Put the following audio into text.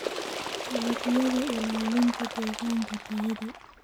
Dalagyada Ilaalinta Deegaanka tayada.